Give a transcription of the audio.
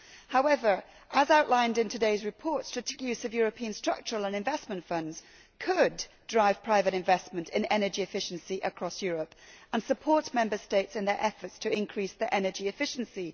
However, as outlined in today's report, strategic use of European structural and investment funds could drive private investment in energy efficiency across Europe and support Member States in their efforts to increase their energy efficiency.